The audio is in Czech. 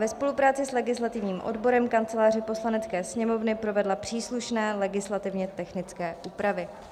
ve spolupráci s legislativním odborem Kanceláře Poslanecké sněmovny provedla příslušné legislativně technické úpravy."